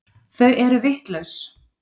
Þau eru vitlaus.